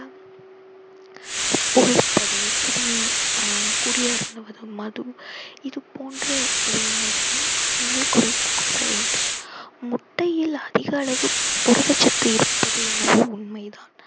புகைப்பது கூடின்~ ஆஹ் குடி அருந்துவதும் மது இது போன்ற ஆண்கள் குறைத்துக் கொள்ளவேண்டும் முட்டையில் அதிக அளவு புரதச்சத்து இருப்பது என்னவோ உண்மைதான்